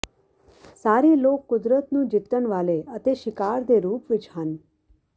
ਸਾਰੇ ਲੋਕ ਕੁਦਰਤ ਨੂੰ ਜਿੱਤਣ ਵਾਲੇ ਅਤੇ ਸ਼ਿਕਾਰ ਦੇ ਰੂਪ ਵਿਚ ਹਨ